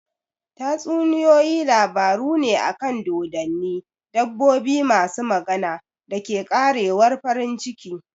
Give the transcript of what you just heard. Tatsuniyoyi labaru ne akan dodonni, dabbobi masu magana, da ke ƙarewar farin ciki.